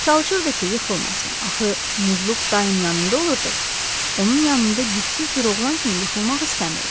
Çalışırdı ki, yıxılmasın, axı, Muzluq daim yanında olurdu, onun yanında gücsüz bir oğlan kimi yıxılmaq istəmirdi.